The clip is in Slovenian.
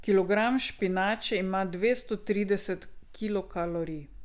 Kilogram špinače ima dvesto trideset kilokalorij.